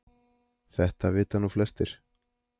Þetta vita nú flestir